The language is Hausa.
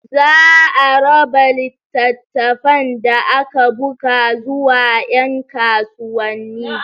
Zaa raba littafan da aka buga zuwa yan kasuwanni.